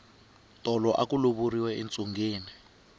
tolo aku lovoriwa entsungeni